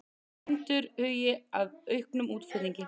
Bændur hugi að auknum útflutningi